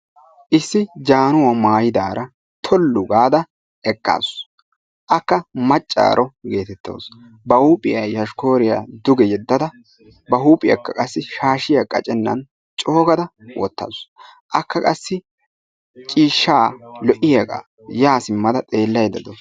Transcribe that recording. Issi jaanuwa mayidaara tollu gaada eqqaasu. Akka maccaaro geetettawus. Ba huuphiya yoshikkooriya duge yeddada ba huuphiyakka qassi shaashiya qacennan coogada wottaasu. Akka qassi ciishshaa lo"iyagaa yaa simmada xeellaydda de"awusu.